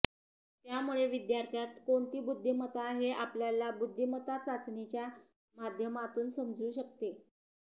त्यामुळे विद्यार्थ्यांत कोणती बुद्धिमत्ता हे आपल्याला बुद्धिमत्ता चाचणीच्या माध्यमातून समजू शकते